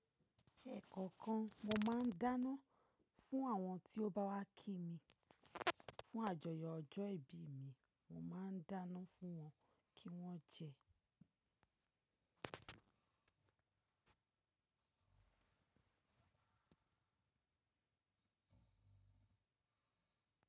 Ẹkọ̀kan mo máa ń dáná fún àwọn tí ó bá wá kí mi. Fún àjọyọ̀ ọjọ́ ìbí mi, mo máa ń dáná fún wọn kí wọ́n jẹ.